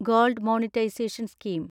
gold monetisation scheme